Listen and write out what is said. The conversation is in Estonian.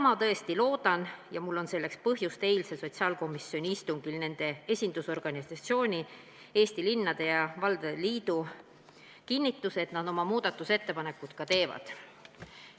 Ma tõesti seda loodan ja mul on selleks põhjust, sest eilsel sotsiaalkomisjoni istungil nende esindusorganisatsioon Eesti Linnade ja Valdade Liit kinnitas, et nad oma muudatusettepanekud ka teevad.